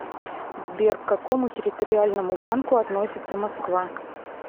сбер к какому территориальному банку относится москва